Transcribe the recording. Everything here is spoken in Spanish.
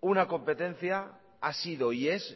una competencia ha sido y es